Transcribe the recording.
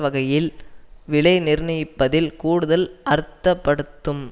வகையில் விலை நிர்ணயிப்பதில் கூடுதல் அர்த்தப்படுத்தும்